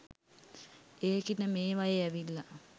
ඒකිට මේවයෙ ඇවිල්ල